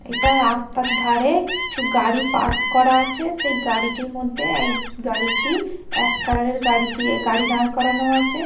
এটা রাস্তার ধারে কিছু গাড়ি পার্ক করা আছে সেই গাড়িটির মধ্যে এই গাড়িটি অ্যাশ কালারের গাড়ি দিয়ে গাড়ি দাঁড় করানো আছে।